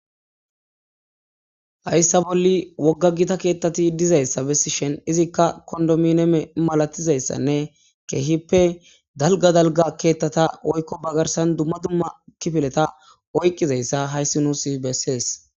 Hayssa bolli wogga gita keettati dizayssa bessi shen izikka kondomineme malatizayssanne keehippe dalga dalga keettata oykko bagarsan dumma dumma kifileta oyqqizayssa hayssi nuusi bessees